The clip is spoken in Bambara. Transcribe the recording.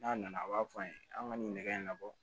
N'a nana a b'a fɔ an ye an ka nin nɛgɛ in na